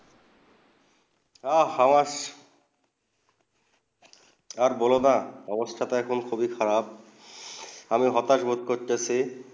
আ হাঁস আর বোলো না অবস্থাটা অনেক্ষন খুবই খারাব আমি হতবাক ভোট করতেসেছি